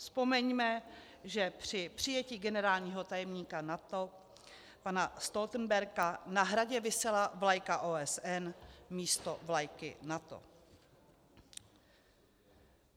Vzpomeňme, že při přijetí generálního tajemníka NATO pana Stoltenberga na Hradě visela vlajka OSN místo vlajky NATO.